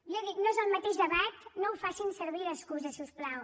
jo dic no és el mateix debat no ho facin servir d’excusa si us plau